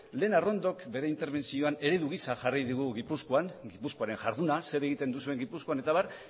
lehen arrondok bere interbentzioan eredu gisa jarri digu gipuzkoaren jarduna zer egiten duzuen gipuzkoan eta abar